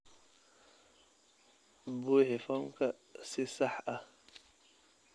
Buuxi foomkan si sax ah.